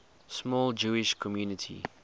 small jewish community